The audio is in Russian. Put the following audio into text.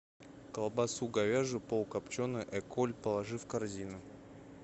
колбасу говяжью полукопченую эколь положи в корзину